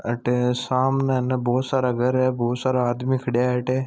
अठे सामने बहुत सारा घर है बहुत सारा आदमी खड़ा है अठ।